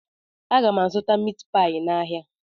Aga m azụta mitpai n'ahia